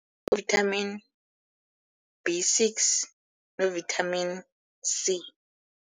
Vitamin B six no-vitamin C.